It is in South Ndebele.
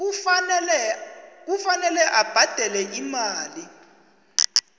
kufanele abhadele imali